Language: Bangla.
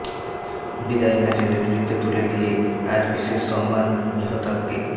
বিদায়ী ম্যাচে নেতৃত্ব তুলে দিয়ে আজ বিশেষ সম্মান মেহতাবকে